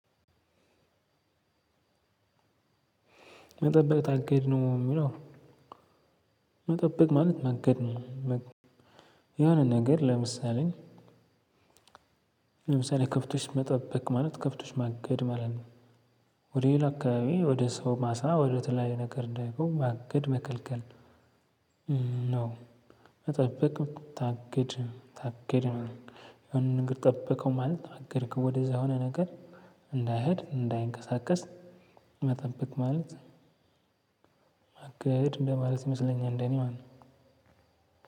መጠበቅ አካሄድ ነው የምለው። መጠበቅ ማለት መገድ ነው። የሆነ ነገር። ለምሳሌ ለምሳሌ ከፍቶሽ መጠበቅ ማለት ከፍቶሽ ማገድ ማለት ነው። ወደ ሌላ አካባቢ ወደ ሰው ማሳ ወደ ተለያዩ ነገር እንዳይቆም ማገድ መከልከል። ነው። መጠበቅ ታገድ ታግድ ነው የሆነ ነገር ጠብቀው ማለት ታግድ ከወደዛ የሆነ ነገር እንዳይሄድ እንዳይንቀሳቀስ መጠበቅ። ማለት አቅድ እንደማለት ይመስለኛል እንደኔ ማለት